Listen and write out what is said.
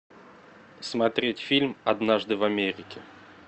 смотреть фильм однажды в америке